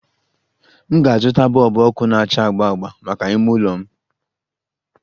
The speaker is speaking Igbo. M ga-azụta bọlbụ ọkụ na-acha agba agba maka ime ụlọ m